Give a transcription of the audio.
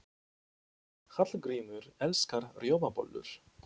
Hallgrímur elskar rjómabollur.